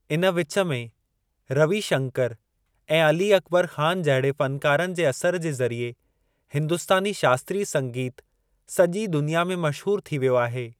इन विचु में, रवि शंकर ऐं अली अकबर ख़ान जहिड़े फ़नकारनि जे असरु जे ज़रिए हिंदुस्‍तानी शास्‍त्रीय संगीत सॼी दुनिया में मशहूरु थी वियो आहे।